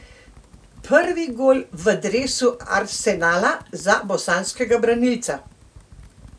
Prvi gol v dresu Arsenala za bosanskega branilca!